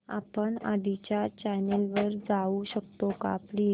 आपण आधीच्या चॅनल वर जाऊ शकतो का प्लीज